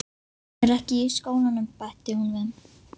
Hún er ekki í skólanum, bætti hún við.